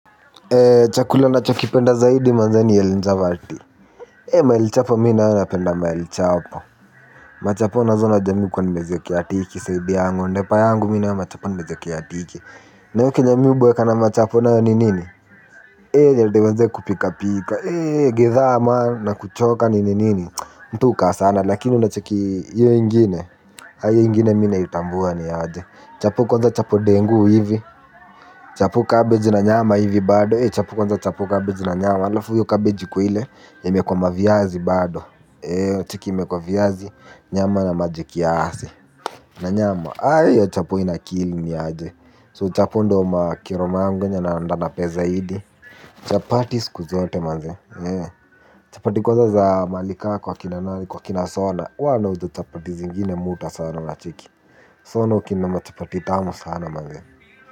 Chakula nachokipenda zaidi nadhani ni chapati. E mahali chapo mi naye napenda malichapo. Machapo nazo unajua mi hukuwa nimeziwekea tiki side yangu ndepa yangu mi nayo machapo nimeziwekea tiki nayo kenye mi huboeka na machapo nayo ni nini. E ni hadi mazee kupika pika. E githaa man na kuchoka ninini mtu hukaa sana lakini unacheki hiyo ingine. Aa hiyo ingine mi naitambua niaje. Chapo kwanza chapo dengu hivi. Chapo kabeji na nyama hivi bado eii chapo kwanza chapo kabeji na nyama. Halafu hiyo kabeji ikuwe ile imewekwa maviazi bado. Ei cheki imekwa viazi, nyama na maji kiasi. Na nyama, ayo chapo inakili niaje. Chapo ndo ma kero yangu yenye napenda zaidi. Chapati siku zote manze. Chapati kwanza za mahali ka kwa kina nani kwa kina sona. Huwa anaunda chapati zingine mi huta sana unacheki. Sa hao ndo hukinda machapati tamu sana manze.